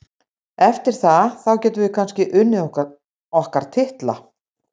Eftir það, þá getum við kannski unnið okkar titla.